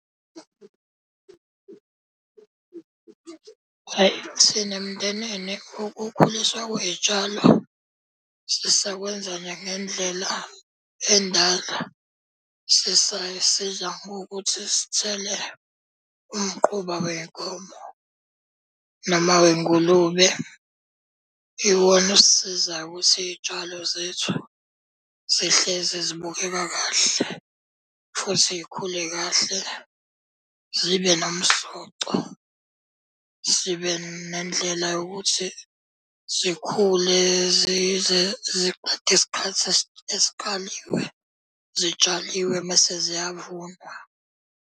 Ayi thina emndenini ukukhuliswa kwey'tshalo sisakwenza nje ngendlela endala. Sisay'siza ngokuthi sithele umquba wey'nkomo noma wey'ngulube. Iwona osisizayo ukuthi iy'tshalo zethu zihlezi zibukeka kahle futhi y'khule kahle zibe nomsoco. Zibe nendlela yokuthi zikhule zize ziqede isikhathi esikaliwe zitshaliwe mese ziyavunwa.